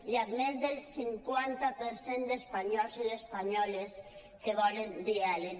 hi ha més del cinquanta per cent d’espanyols i d’espanyoles que volen diàleg